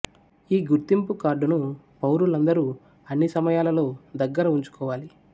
ఈ గుర్తింపు కార్డును పౌరులందరూ అన్ని సమయాలలో దగ్గర ఉంచుకోవాలి